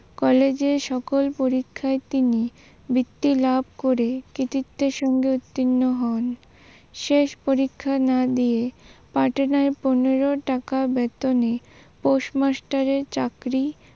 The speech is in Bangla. কলেজে সকল পরীক্ষায় তিনি বৃত্ত্যি লাভ করে কৃতিত্বের সঙ্গে উত্তীণ হন শেষ পরীক্ষা না দিয়ে পনেরো টাকা বেতনে post master এর চাকরি